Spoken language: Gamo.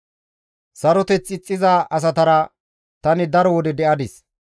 Saroteth ixxiza asatara tani daro wode de7adis.